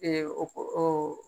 Ee o ko o